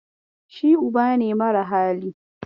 Shi uba ne mara hali.